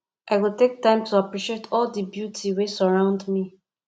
i go take time to appreciate all di beauty wey surround me